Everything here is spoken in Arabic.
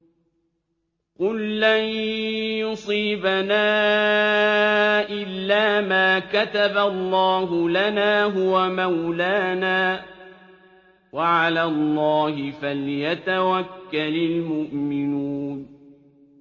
قُل لَّن يُصِيبَنَا إِلَّا مَا كَتَبَ اللَّهُ لَنَا هُوَ مَوْلَانَا ۚ وَعَلَى اللَّهِ فَلْيَتَوَكَّلِ الْمُؤْمِنُونَ